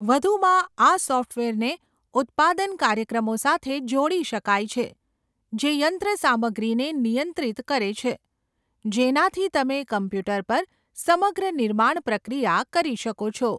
વધુમાં, આ સૉફ્ટવેરને ઉત્પાદન કાર્યક્રમો સાથે જોડી શકાય છે જે યંત્રસામગ્રીને નિયંત્રિત કરે છે, જેનાથી તમે કમ્પ્યુટર પર સમગ્ર નિર્માણ પ્રક્રિયા કરી શકો છો.